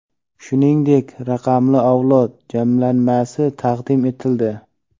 shuningdek "Raqamli avlod" jamlanmasi taqdim etildi.